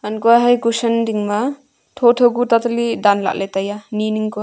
hankoley kason ding ma thotho ku tata li dan lah le tai a ni ning Kuya.